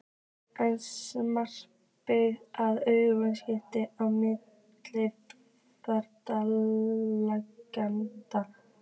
Er samstarfið að aukast á milli félaganna?